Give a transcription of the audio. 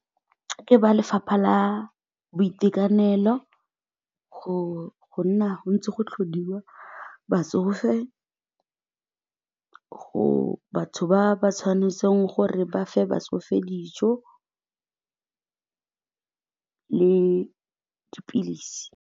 Ke ba lefapha la boitekanelo go nna ntse go tlhodiwa batsofe, gore batho ba ba tshwanetseng gore ba fe batsofe dijo le dipilisi.